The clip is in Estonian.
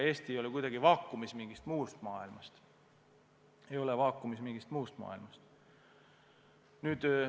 Eesti ei ole kuidagi vaakumis, muust maailmast ära lõigatud.